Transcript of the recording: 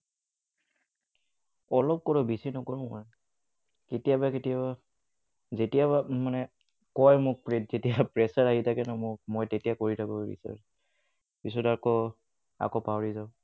অলপ কৰো বেচি নকৰোঁ মই। কেতিয়াবা কেতিয়াবা, যেতিয়া মানে কয় মোক মানে যেতিয়া pressure আহি থাকে নহয়, মই তেতিয়া কৰি থাকো research পিছত আকৌ আকৌ পাহৰি যাও।